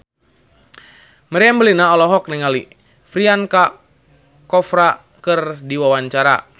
Meriam Bellina olohok ningali Priyanka Chopra keur diwawancara